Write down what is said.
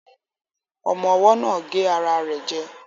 Ọmọ́ ọwọ́ náà gé ara rẹ̀ jẹ